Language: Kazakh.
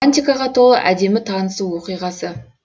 романтикаға толы әдемі танысу оқиғасы